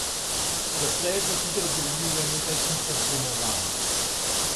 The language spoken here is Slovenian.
Doslej so sicer zgradili le nekaj tisoč domovanj.